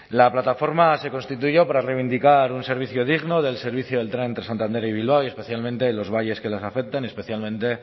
la plataforma se constituyó para reivindicar un servicio digno del servicio del tren entre santander y bilbao y especialmente en los valles que les afectan especialmente